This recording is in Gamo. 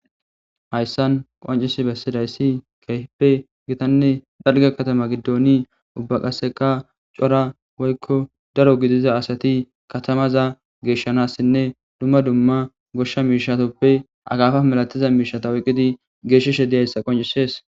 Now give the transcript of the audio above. Hayssan qoncisi besidaysi kehippe gitanne dalgga katama giddon ubba qaseka Cora woykko daro gidiza asati katamaza geshanasine duma duma goshsha mishshatuppe akafa milatiza oyqqidi geshishe dizaysa qonccises.